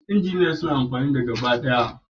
Injiniyoyin suna amfani da gabaɗaya